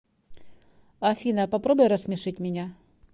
афина попробуй рассмешить меня